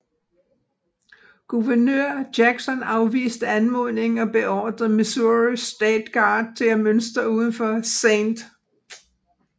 Guvernør Jackson afviste anmodningen og beordrede Missouri State Guard til at mønstre udenfor St